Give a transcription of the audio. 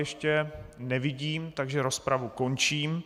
Nikoho nevidím, takže rozpravu končím.